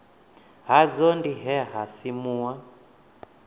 hadzo ndi he ha simuwa